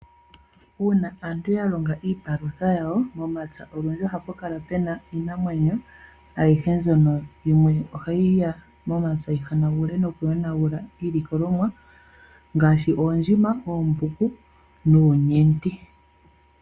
Una aantu ya longa iipalutha yawo, momapya olundji ohapu kala pena iinamwenyo, ayihe mbyono yimwe ohayi ya momapya yi hanagule noku yonagula iilikolomwa, ngaashi oondjima, oombuku nuunyendi.